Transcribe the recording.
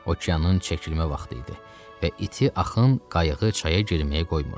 Okeanın çəkilmə vaxtı idi və iti axın qayığı çaya girməyə qoymurdu.